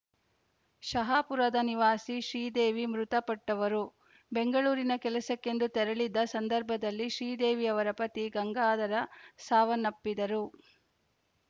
ಶಹಾಪುರದ ನಿವಾಸಿ ಶ್ರೀದೇವಿ ಮೃತಪಟ್ಟವರು ಬೆಂಗಳೂರಿಗೆ ಕೆಲಸಕ್ಕೆಂದು ತೆರಳಿದ್ದ ಸಂದರ್ಭದಲ್ಲಿ ಶ್ರೀದೇವಿ ಅವರ ಪತಿ ಗಂಗಾಧರ ಸಾವನ್ನಪ್ಪಿದ್ದರು